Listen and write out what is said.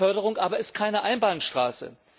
Förderung aber ist keine Einbahnstraße.